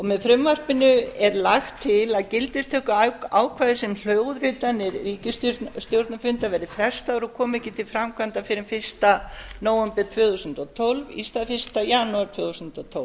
með frumvarpinu er lagt til að gildistökuákvæði sem hljóðritanir ríkisstjórnarfunda verði frestað og komi ekki til framkvæmda fyrr en fyrsta nóvember tvö þúsund og tólf í stað fyrsta janúar tvö þúsund og tólf